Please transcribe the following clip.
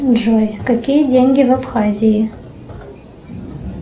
джой какие деньги в абхазии